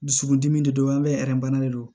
Dusukundimi de don an bɛ bana de don